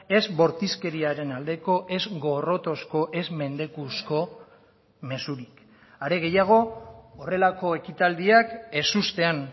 ez bortizkeriaren aldeko ez gorrotozko ez mendekuzko mezurik are gehiago horrelako ekitaldiak ezustean